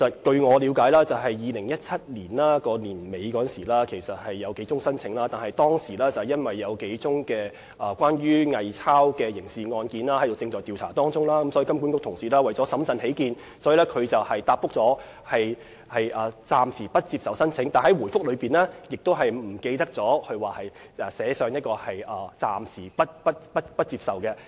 據我了解，金管局在2017年年底曾收到數宗申請，但當時由於有數宗偽鈔刑事案件正進行調查，所以金管局為了審慎起見，便回覆暫時不接受申請，但在回覆中忘記寫上"暫時不接受申請"。